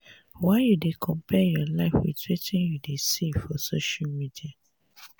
why you dey compare your life wit wetin you dey see for social media?